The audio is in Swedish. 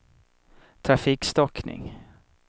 trafikstockning